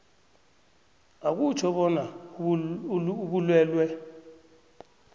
akutjho bona ubulwelwe